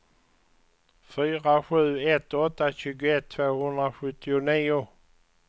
fyra sju ett åtta tjugoett tvåhundrasjuttionio